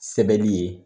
Sɛbɛli ye